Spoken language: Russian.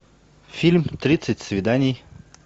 фильм тридцать свиданий